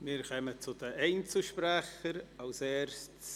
Wir kommen zu den Einzelsprechenden.